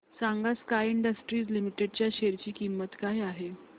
सांगा Sky Industries Limited च्या share ची किंमत काय आहे